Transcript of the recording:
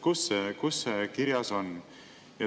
Kus see kirjas on?